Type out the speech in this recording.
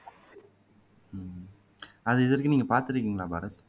அது இதுவரைக்கும் நீங்க பாத்துருக்கீங்களா பாரத்